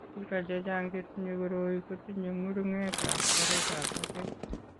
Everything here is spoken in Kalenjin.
Biko chechang' chetinye koroi kotinye ng'uruketab oretab batet .